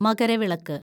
Makaravilakku